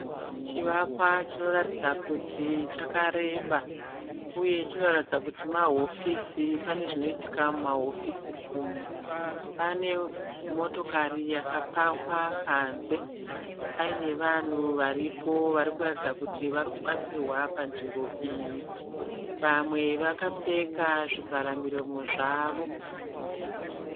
Chivakwa chinoratidza kuti chakareba uye chinoratidza kuti mahofisi. Pane zvinoitika mumahofisi umu. Pane motokari yakapakwa panze paine vanhu varipo varikuratidza kuti varikubatsirwa panzvimbo iyi. Vamwe vakapfeka zvivhara miromo zvavo.